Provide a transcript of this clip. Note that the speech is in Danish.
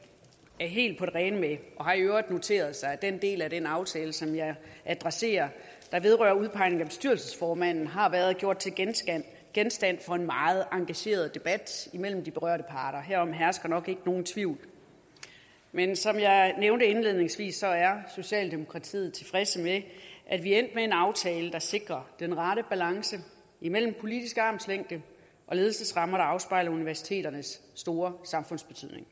er helt på det rene med og har noteret sig at den del af den aftale som jeg adresserer og som vedrører udpegningen af bestyrelsesformanden har været genstand for en meget engageret debat mellem de berørte parter herom hersker nok ikke nogen tvivl men som jeg nævnte indledningsvis så er socialdemokratiet tilfredse med at vi er endt med en aftale der sikrer den rette balance mellem politisk armslængde og ledelsesrammer der afspejler universiteternes store samfundsbetydning